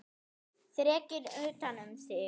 Þrekinn utan um sig.